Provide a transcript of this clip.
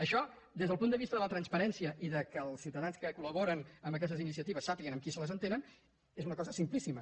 això des del punt de vista de la transparència i que els ciutadans que col·laboren amb aquestes iniciatives sàpiguen amb qui se les entenen és una cosa simplíssima